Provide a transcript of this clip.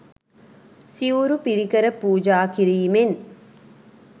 සිවුරු පිරිකර පූජා කිරීමෙන්